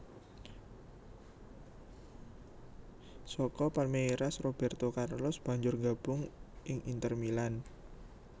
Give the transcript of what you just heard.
Saka Palmeiras Robérto Carlos banjur gabung ing Inter Milan